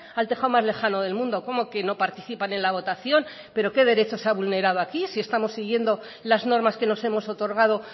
al tejado más lejano del mundo cómo que no participan en la votación pero qué derecho se ha vulnerado aquí si estamos siguiendo las normas que nos hemos otorgado